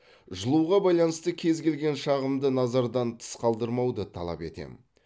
жылуға байланысты кез келген шағымды назардан тыс қалдырмауды талап етемін